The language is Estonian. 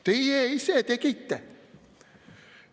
Teie ise tegite!